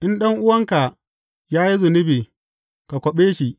In ɗan’uwanka ya yi zunubi, ka kwaɓe shi.